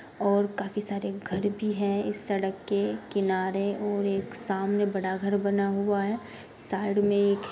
और काफी सारे घर भी हैं इस सड़क के किनारे और एक सामने बड़ा घर बना हुआ है साइड मे एक --